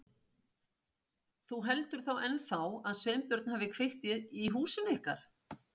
Þú heldur þá ennþá að Sveinbjörn hafi kveikt í húsinu ykkar?